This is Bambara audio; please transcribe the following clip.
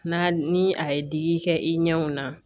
N'a ni a ye digi kɛ i ɲɛw na